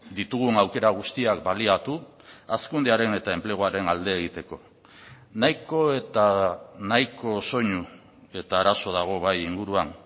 ditugun aukera guztiak baliatu hazkundearen eta enpleguaren alde egiteko nahiko eta nahiko soinu eta arazo dago bai inguruan